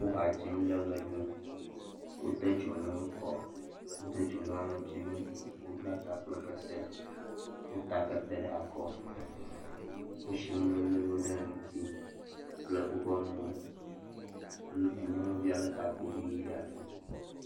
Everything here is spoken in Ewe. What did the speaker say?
Wo ha dzim. Le ʋe ɖum. Wode dzonuwo kɔ. Wode dzonu alɔtsinu. Wobla ta kple kete. Wota kete ɖe akɔ. Woshi nu ʋe ʋe ʋe ɖe ŋuti kple woƒe mowo. Nyɔnuvia lé takuvi ʋe ɖe asi.